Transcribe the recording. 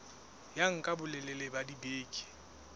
ya nka bolelele ba dibeke